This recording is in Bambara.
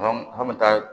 An bɛ taa